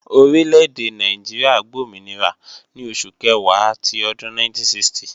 Orí lédè Nàìjíríà gbòmìnira ní oṣù Kẹ̀wá ti ọdún 1960